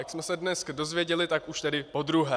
Jak jsme se dnes dozvěděli, tak už tedy podruhé.